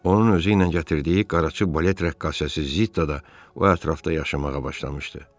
Onun özü ilə gətirdiyi qaraçı balet rəqqasəsi Zitta da o ətrafda yaşamağa başlamışdı.